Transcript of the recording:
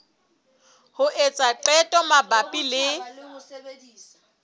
ho etsa qeto mabapi le